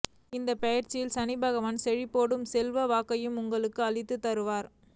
இந்த பெயர்ச்சியில் சனி பகவான் செழிப்போடு செல்வாக்கையும் உங்களுக்கு அள்ளித் தருவார்